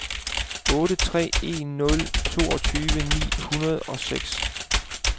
otte tre en nul toogtyve ni hundrede og seks